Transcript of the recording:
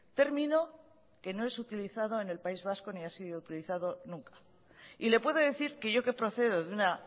término que no es utilizado en el país vasco ni ha sido utilizado nunca y le puedo decir que yo que procedo de una